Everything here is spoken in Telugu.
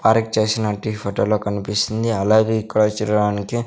పార్క్ చేసినట్టి ఈ ఫోటోలో కనిపిస్తుంది అలాగే ఇక్కడ చూడడానికి.